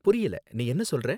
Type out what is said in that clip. புரியல, நீ என்ன சொல்றே?